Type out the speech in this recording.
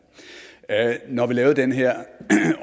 når vi lavede den her